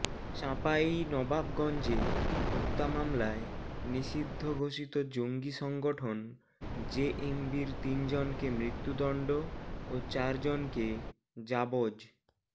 চাঁপাইনবাবগঞ্জে হত্যা মামলায় নিষিদ্ধ ঘোষিত জঙ্গি সংগঠন জেএমবির তিনজনকে মৃত্যুদণ্ড ও চারজনকে যাবজ্